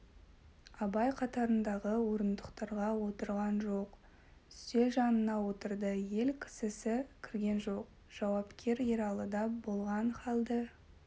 абай қатарындағы орындықтарға отырған жоқ үстел жанына отырды ел кісісі кірген жоқ жауапкер ералыда болған халді